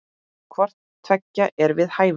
Hvort tveggja er við hæfi.